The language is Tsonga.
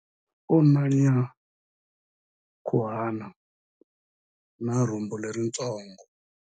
U na nyankhuhana na rhumbu leritsongo.